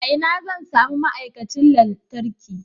A ina zan sami ma'aikacin lantarki?